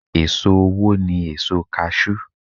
È̀so owó ni èso kaṣú.